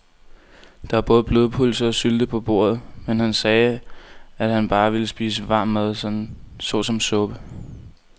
Der var både blodpølse og sylte på bordet, men han sagde, at han bare ville spise varm mad såsom suppe.